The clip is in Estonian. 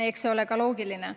Eks see ole ka loogiline.